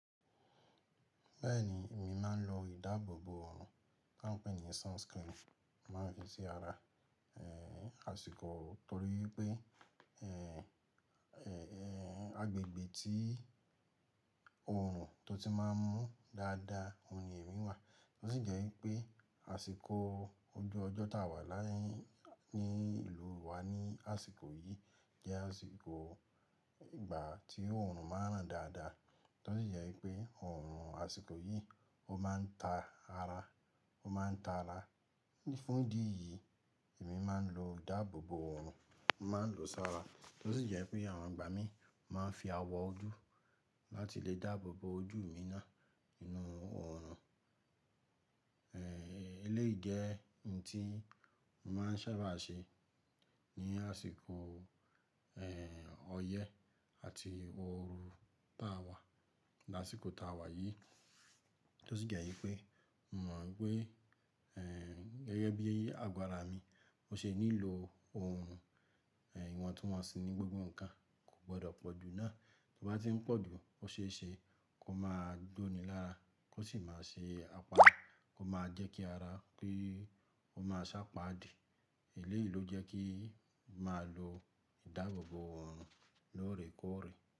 Bẹ́ẹ̀ni, èmi máa ń lo ìdáàbòbò ọrùn ta n pè ní sunscreen. Màá fi sí ara, eh, àsìkò torí pé, agbègbè tí oòrùn tó ti máa ń mú dáadáa, òun ni èmi wà. Tó sì jẹ́ wípé àsìkò ojú ọjọ́ táa wà ní ìlú wa ní àsìkò yìí jẹ́ àsìkò ìgbà tí oòrùn máa ń ràn dáadáa. Tó sì jẹ́ wípé oòrùn àsìkò yìí ó máa ń ta ara, ó máa ń ta ara. Ní fún ìdí yìí, èmi máa ń lo ìdáàbòbò òòrùn, mo màá n lòó sára. Tó sì jẹ́ wípé àwọn ìgbà mí ì mo máa ń fi awọ ojú láti lè dáàbòbò ojú mi náà nínú òòrùn. Eléyìí jẹ́ ohun tí mo má n sábà ṣe ní àsìkò ọyẹ́ àti oru tá a wà lásìkò tá a wà yi. Tó sì jẹ́ wípé mo mọ̀ wípé, gẹ́gẹ́ bí àgó ara mi ṣe nílò ọrùn, ìwọ̀ntuwọ̀nsì ní gbogbo nǹkan kò gbọdọ̀ pọ̀jù náà. Bí ó bá tí ń pọ̀ jù, ó ṣeéṣe kó máa gbóni lára, kó sì máa ṣe àpá, kó máa jẹ́ kí ara kí ó máa sápaadì. Eléyìí ló jẹ́ kí n màá lo ìdáàbòbò òrùn lóòrèkóòrè.